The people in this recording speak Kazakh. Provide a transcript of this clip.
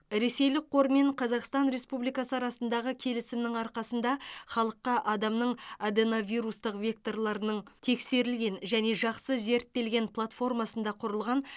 ресейлік қор мен қазақстан республикасы арасындағы келісімнің арқасында халыққа адамның аденовирустық векторларының тексерілген және жақсы зерттелген платформасында құрылған